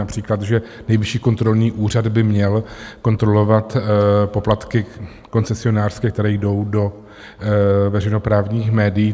Například že Nejvyšší kontrolní úřad by měl kontrolovat poplatky koncesionářské, které jdou do veřejnoprávních médií.